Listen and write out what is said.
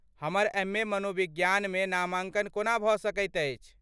हमर एम.ए. मनोविज्ञानमे नामांकन कोना भ सकैत अछि?